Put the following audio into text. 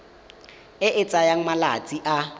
e e tsayang malatsi a